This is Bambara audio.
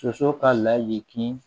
Soso ka layi